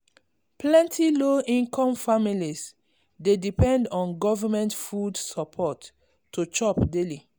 plenty low-income families dey depend on government food support to chop daily.